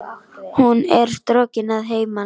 Hún er strokin að heiman.